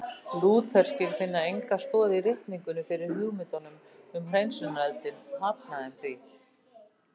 Lútherskir finna enga stoð í ritningunni fyrir hugmyndunum um hreinsunareldinn og hafna þeim því.